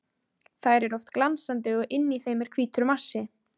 Þær eru oft glansandi og inni í þeim er hvítur massi.